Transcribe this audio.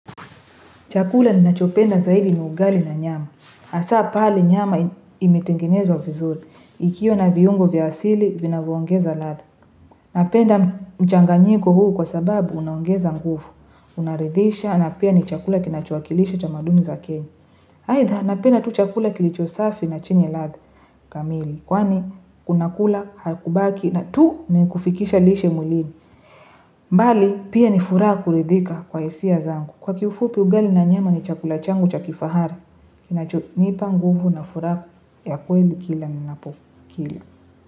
Chakula ninachopenda zaidi ni ugali na nyama. Hasa pale nyama imetengenezwa vizuri. Ikiwa na viungo vya asili, vinavyoogeza ladha Napenda mchanganyiko huu kwa sababu unongeza nguvu Unaridhisha na pia ni chakula kinachowakilisha tamaduni za kenya. Aidha, napenda tu chakula kilicho safi na chini latha. Kamili, kwani, unakula, hakubaki na tu ni kufikisha lishe mwilini mbali, pia ni furaha kuridhika kwa hisia zangu. Kwa kifupi ugali na nyama ni chakula changu cha kifahari. Kinachonipa nguvu na furaha ya kweli kila ni napo kila.